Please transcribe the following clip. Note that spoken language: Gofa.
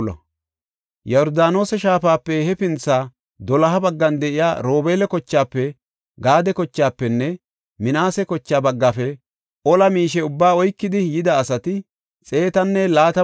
Yordaanose shaafape hefintha doloha baggan de7iya Robeela kochaafe Gaade kochaafenne Minaase koche baggaafe ola miishe ubbaa oykidi yida asati 120,000.